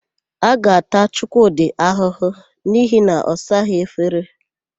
A ga-ata Chukwudị ahụhụ n'ihi na ọ saghị efere.